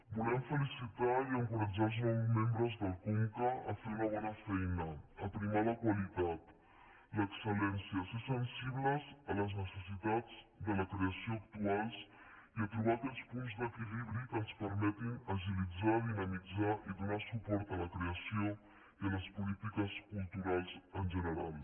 volem felicitar i en·coratjar els nous membres del conca a fer una bona feina a primar la qualitat l’excel·lència a ser sensibles a les necessitats de la creació actuals i a trobar aquells punts d’equilibri que ens permetin agilitzar dinamit·zar i donar suport a la creació i a les polítiques cultu·rals en general